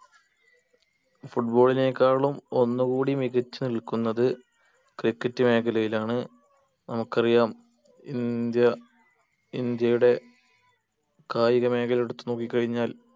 football നെക്കാളും ഒന്ന് കൂടി മികച്ച് നിൽക്കുന്നത് cricket മേഖലയിലാണ് നമുക്കറിയാം ഇന്ത്യ ഇന്ത്യയുടെ കായിക മേഖല എടുത്ത് നോക്കി കഴിഞ്ഞാൽ